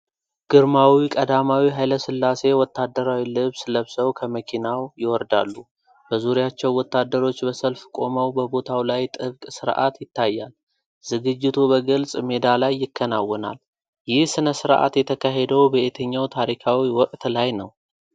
ግርማዊ ቀዳማዊ ኃይለ ሥላሴ ወታደራዊ ልብስ ለብሰው ከመኪናው ይወርዳሉ። በዙሪያቸው ወታደሮች በሰልፍ ቆመው በቦታው ላይ ጥብቅ ሥርዓት ይታያል። ዝግጅቱ በግልጽ ሜዳ ላይ ይከናወናል። ይህ ሥነ ሥርዓት የተካሄደው በየትኛው ታሪካዊ ወቅት ላይ ነው?